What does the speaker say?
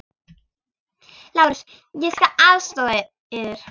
LÁRUS: Ég skal aðstoða yður.